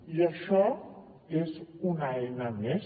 i això és una eina més